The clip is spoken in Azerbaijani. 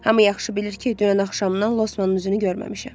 Hamı yaxşı bilir ki, dünən axşamdan Losmanın üzünü görməmişəm.